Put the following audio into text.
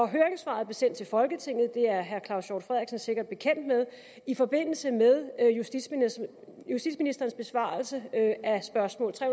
høringssvaret blev sendt til folketinget det er herre claus hjort frederiksen sikkert bekendt med i forbindelse med justitsministerens besvarelse af spørgsmål tre